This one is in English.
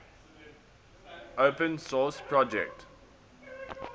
open source project